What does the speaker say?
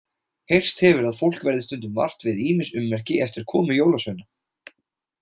Heyrst hefur að fólk verði stundum vart við ýmis ummerki eftir komu jólasveina.